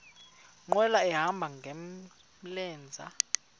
nkqwala ehamba ngamlenze